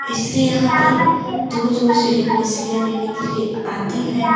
इसलिए यहां पे दूर-दूर से लोग मछलियां लेने के लिए आते हैं।